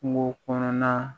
Kungo kɔnɔna